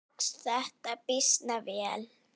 Tókst þetta býsna vel.